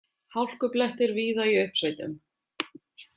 Hálkublettir víða í uppsveitum